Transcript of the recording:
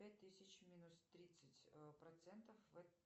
две тысячи минус тридцать процентов